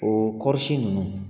O kɔɔrisi ninnu